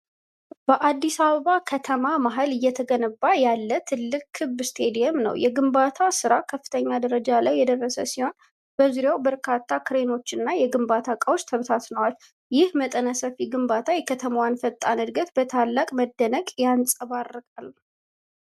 በአዲስ አበባ ከተማ መሃል እየተገነባ ያለ ትልቅ ክብ ስታዲየም ነው። የግንባታው ስራ ከፍተኛ ደረጃ ላይ የደረሰ ሲሆን፣ በዙሪያው በርካታ ክሬኖችና የግንባታ እቃዎች ተበትነዋል። ይህ መጠነ ሰፊ ግንባታ የከተማዋን ፈጣን ዕድገት በታላቅ መደነቅ ያንጸባርቃል።